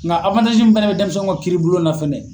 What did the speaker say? Nga mun fɛnɛ be dɛnmisɛnw ka kiiribulon na fɛnɛ